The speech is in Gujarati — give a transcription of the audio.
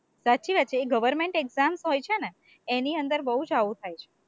સાચી વાત છે, એ government exams હોય છે ને એની અંદર બોવ જ આવું થાય છે,